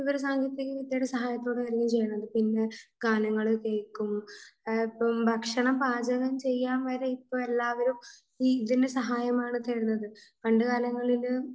വിവര സാങ്കേതിക സഹായത്തോടെ തന്നെയാണ് ചെയ്യാറ്. പിന്നെ ഗാനങ്ങൾ കേൾക്കും, ഇപ്പൊ ഭക്ഷണം പാചകം ചെയ്യാൻ വരെ ഇപ്പോ എല്ലാവരും ഇതിന്റെ സഹായമാണ് തേടുന്നത്. പണ്ടുകാലങ്ങളിൽ